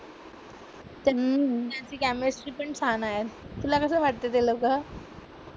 त्यांची केमिस्ट्री पण छान आहे तुला कसं वाटतं ते लोकं?